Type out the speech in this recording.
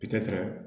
Pitara